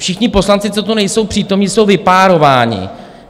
Všichni poslanci, co tu nejsou přítomní, jsou vypárováni.